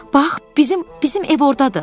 Bax, bizim, bizim ev ordadır.